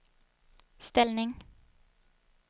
ställning